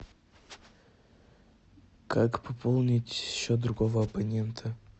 как пополнить счет другого абонента